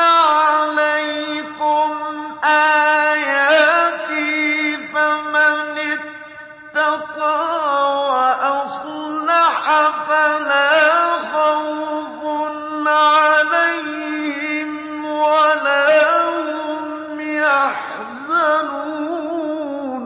عَلَيْكُمْ آيَاتِي ۙ فَمَنِ اتَّقَىٰ وَأَصْلَحَ فَلَا خَوْفٌ عَلَيْهِمْ وَلَا هُمْ يَحْزَنُونَ